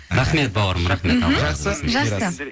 рахмет бауырым жақсы